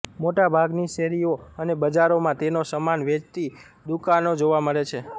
મોટાભાગની શેરીઓ અને બજારોમાં તેનો સમાન વેચતી દુકાનો જોવા મળે છે